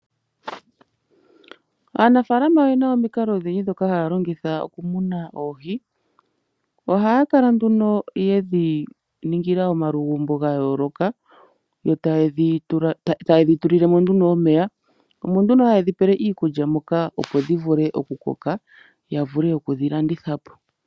Aanafaalama oye na omikalo odhindji ndhoka haya longitha okumuna oohi. Ohaya kala nduno ye dhi ningila omalugumbo ga yooloka yo taye dhi tulile mo nduno omeya. Omo nduno haye dhi pele iikulya moka, opo dhi vule okukoka ya vule oku dhi landitha po.